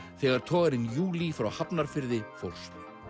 þegar togarinn júlí frá Hafnarfirði fórst